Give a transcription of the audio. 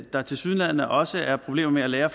der tilsyneladende også er problemer med at lære